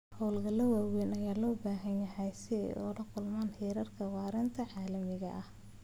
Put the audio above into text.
Hawlgallada waaweyn ayaa loo baahan yahay si ay ula kulmaan heerarka waaritaanka caalamiga ah.